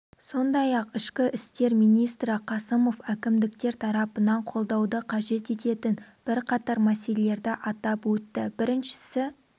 сондай-ақ ішкі істер министрі қасымов әкімдіктер тарапынан қолдауды қажет ететін бір қатар мәселелерді атап өтті біріншісі